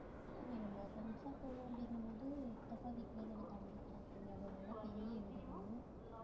இல்லை, நம்ம friends ஆ போவோம் அப்படிங்கும்போது, சித்தப்பா வீட்டிலேயே கூட தாங்கிக்கலாம் அங்க அது நல்லா பெரிய வீடுதான்